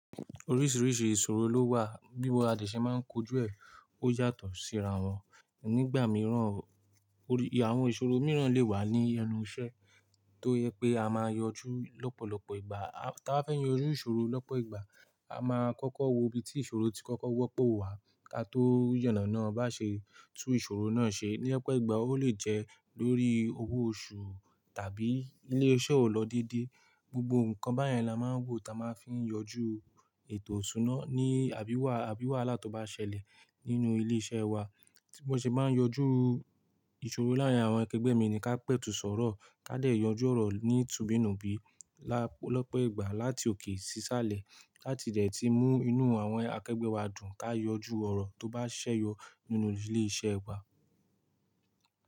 Oríṣìíríṣìí ìṣòro ló wà, bí a de sẹ máa ń kojú ẹ̀, ó yàtọ̀ síra wọn. Nígbà mìíràn, àwọn ìṣòro mìíràn lè wà ní ẹnu iṣẹ́ tó yẹ pé a máa yanjú lọ́pọ̀lọpọ̀ ìgbà. Tí ba fẹ́ yanjú ìṣòro lọ́pọ̀ ìgbà, a máa kọ́kọ́ wo ibi tí ìṣòro tí kọ́kọ́ wọ́pọ̀ wà, ká tó yànà náà bá ṣe tú ìṣòro náà ṣe. Ní Ọpo ìgbà ó lè jẹ́ lórí owó oṣù tàbí ilé iṣẹ́ ò lọ déédéé. Gbogbo nǹkan báyẹn la máa ń wò táa máa fi ń yanjú ètò iṣúná ní àbí wà, àbí wàhálà tó bá ṣẹlẹ̀ nínú ilé iṣẹ́ wa. Bí wọn ṣe bá ń yanjú ìṣòro láàárín àwọn akegbe mi ni ká pẹ̀tù sọ̀rọ̀, ká dẹ̀ yanjú ọ̀rọ̀ ní tùbìnùbí lọ́pọ̀ ìgbà láti òkè sí isàlẹ̀ láti dẹ̀ tí mú inú àwọn akegbe wa dùn ká yanjú ọ̀rọ̀ tó bá ṣẹ́yọ nínú ilé iṣẹ́ wa.